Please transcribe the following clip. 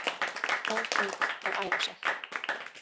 Fór út að æfa sig